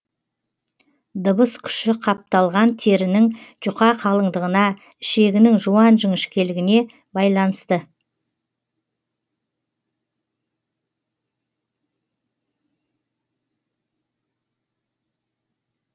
дыбыс күші қапталған терінің жұқа қалыңдығына ішегінің жуан жіңішкелігіне байланысты